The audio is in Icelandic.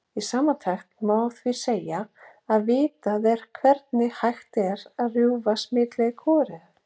Í samantekt má því segja að vitað er hvernig hægt er að rjúfa smitleið kúariðu.